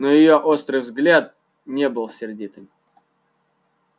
но её острый взгляд не был сердитым